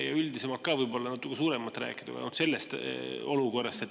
Ja üldisemalt ka, võib-olla natuke rohkem rääkida sellest olukorrast.